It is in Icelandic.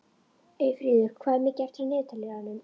Eyfríður, hvað er mikið eftir af niðurteljaranum?